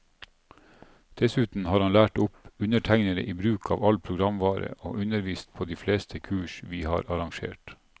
Dessuten har han lært opp undertegnede i bruk av all programvare, og undervist på de fleste kurs vi har arrangert.